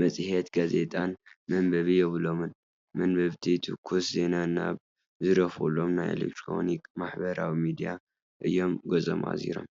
መፅሄትን ጋዜጣን መንበቢ የብሎምን፡፡ መንበብቲ ትኩስ ዜና ናብ ዝርከበሎም ናይ ኤለክትሮኒክ ማሕበራዊ ሚድያታት እዮም ገፆም ኣዚሮም፡፡